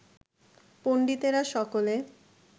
পণ্ডিতেরা সকলে